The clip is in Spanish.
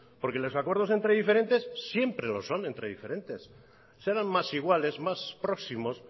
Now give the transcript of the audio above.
porque los acuerdos entre diferentes siempre lo son entre diferentes serán más iguales más próximos